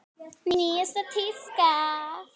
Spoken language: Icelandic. Nýjasta tíska?